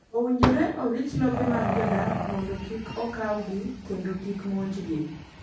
Owinjore orit lope mag jodak mondo kik okawgi kendo kik monji gi.